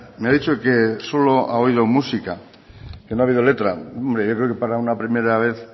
me ha dicho que solo ha oído música que no ha habido letra yo creo que para una primera vez